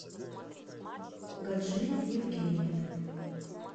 гаджи евгеньевны